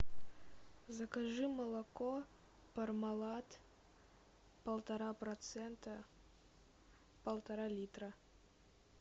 закажи молоко пармалат полтора процента полтора литра